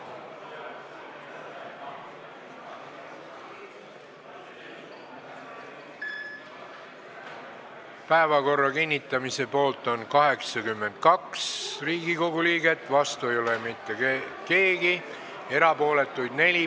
Hääletustulemused Päevakorra kinnitamise poolt on 82 Riigikogu liiget, vastu ei ole mitte keegi, erapooletuid on 4.